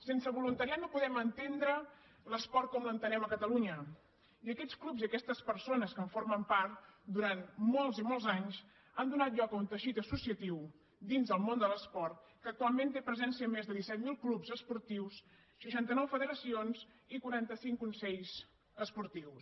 sense voluntariat no podem entendre l’esport com l’entenem a catalunya i aquests clubs i aquestes persones que en formen part durant molts i molts anys han donat lloc a un teixit associatiu dins del món de l’esport que actualment té presència en més de disset mil clubs esportius seixanta nou federacions i quaranta cinc consells esportius